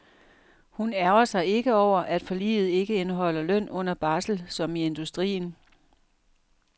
Hun ærgrer sig ikke over, at forliget ikke indeholder løn under barsel som i industrien.